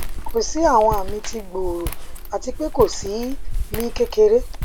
ko si awọn ami ti gbooro ati pe ko si mi kekere